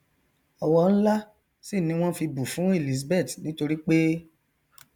ọwọ nlá sì ni wọn fi bù fún elizabeth nítoripé